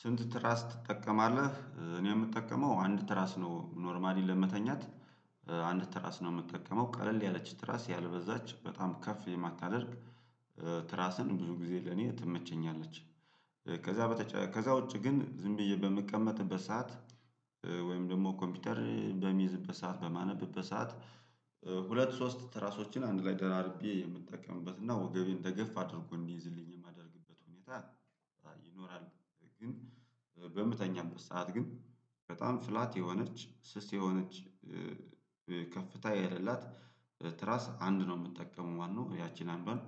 ስንት ትራስ ትጠቀማለህ እኔ የምጠቀመው አንድ ትራስ ነው ኖርማሊ ለመተኛት አንድ ትራስ ነው የምጠቀመው ቀለል ያለች ትራስ ያልበዛች በጣም ከፍ የማታደርግ ትራስን ብዙ ጊዜ ለኔ ትመቸኛለች። ከዛ በተጨ ከዛ ውጪ ግን ዝም ብዬ በምቀመጥበት ሰዓት ወይም ደግሞ ኮምፒተር በምይዝበት ሰዓት በማነብበት ሰዓት። ሁለት ሶስት ትራሶችን አንድ ላይ ደራርቤ የምንጠቀምበት እና ወገቤን ተገፍ አድርጎ እንይዝልኝ ታ ይኖራል። በምተኛበት ሰዓት ግን በጣም ፍላት የሆነች ስስ የሆነች ከፍታ የለላት ትራስ አንድ ነው የምጠቀመው ማለት ነው። ያቺን አንዷን